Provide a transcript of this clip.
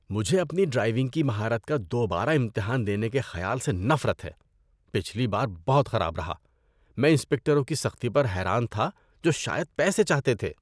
‏مجھے اپنی ڈرائیونگ کی مہارت کا دوبارہ امتحان دینے کے خیال سے نفرت ہے۔ پچھلی بار بہت خراب رہا۔ میں انسپکٹروں کی سختی پر حیران تھا جو شاید پیسے چاہتے تھے۔